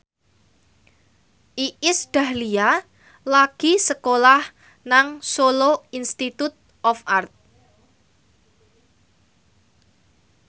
Iis Dahlia lagi sekolah nang Solo Institute of Art